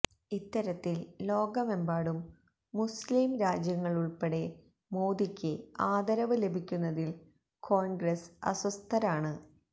ഇത്തരത്തിൽ ലോകമെമ്പാടും മുസ്ലിം രാജ്യങ്ങളിലുൾപ്പെടെ മോദിക്ക് ആദരവ് ലഭിക്കുന്നതിൽ കോൺഗ്രസ് അസ്വസ്ഥരാണ്